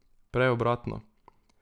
Prej obratno.